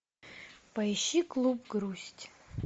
поищи клуб грусть